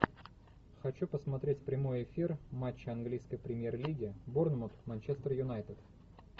хочу посмотреть прямой эфир матча английской премьер лиги борнмут манчестер юнайтед